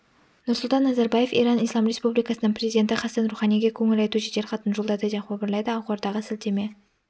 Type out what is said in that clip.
нұрсұлтан назарбаев иран ислам республикасының президенті хасан руханиге көңіл айту жеделхатын жолдады деп хабарлайды ақордаға сілтеме